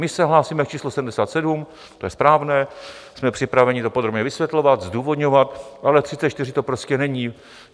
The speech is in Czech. My se hlásíme k číslu 77, to je správné, jsme připraveni to podrobně vysvětlovat, zdůvodňovat, ale 34 to prostě není.